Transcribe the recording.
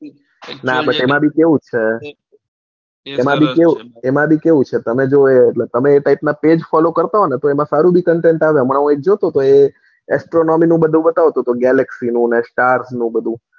એમાં બી કેઉં છે એમાં બી કેઉં છે એટલા પગે follow કરતા હોવ તો સારું જ content આવે હમણાં હું એક જોતો હતો એ એમાં astrology નું બતાવતો હતો galaxy નું ને star નું બધું.